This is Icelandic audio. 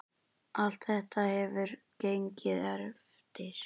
Allt þetta hefur gengið eftir.